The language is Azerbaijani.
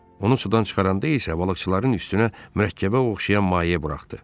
Onu sudan çıxaranda isə balıqçıların üstünə mürəkkəbə oxşayan maye buraxdı.